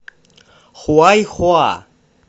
хуайхуа